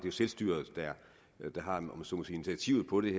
selvstyret der har om jeg så må sige initiativet på det